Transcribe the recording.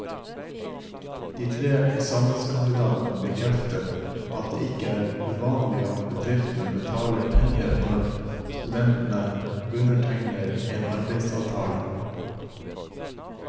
De tre eksamenskandidatene bekrefter at det ikke er uvanlig at bedriftene betaler penger når studentene undertegner en arbeidsavtale.